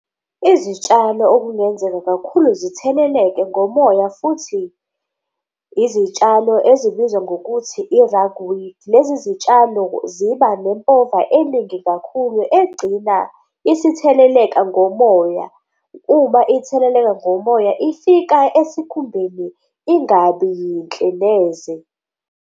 Izitshalo okungenzeka kakhulu zitheleleke ngomoya futhi izitshalo ezibizwa ngokuthi i-rogue weed. Lezi zitshalo ziba nempova eningi kakhulu egcina isitheleleka ngomoya, uma itheleleka ngomoya ifika esikhumbeni ingabi yinhle neze.